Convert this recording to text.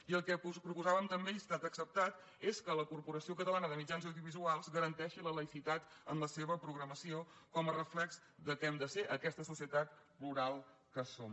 i el que proposàvem també i ha estat acceptat és que la corporació catalana de mitjans audiovisuals garanteixi la laïcitat en la seva programació com a reflex del que hem de ser aquesta societat plural que som